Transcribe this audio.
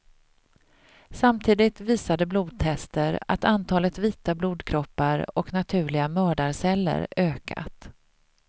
Samtidigt visade blodtester att antalet vita blodkroppar och naturliga mördarceller ökat.